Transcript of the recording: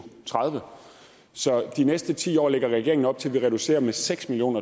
tredive så de næste ti år lægger regeringen op til at vi reducerer med seks million